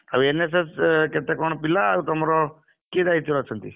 ଆଉ NSS ରେ କେତେ କଣ ପିଲା ଆଉ ତମର, କିଏ ଦାୟିତ୍ଵରେ ଅଛନ୍ତି?